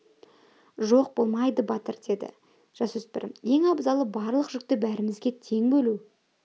жоқ болмайды батыр деді жасөспірім ең абзалы барлық жүкті бәрімізге тең бөлу